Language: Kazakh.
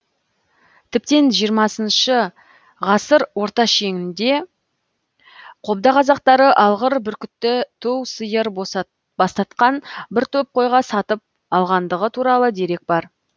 тіптен жиырмасыншы ғасыр орта шенінде қобда қазақтары алғыр бүркітті ту сиыр бастатқан бір топ қойға сатып алғандығы туралы дерек бар